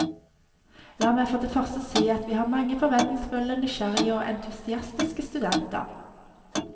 La meg for det første si at vi har mange forventningsfulle, nysgjerrige og entusiastiske studenter.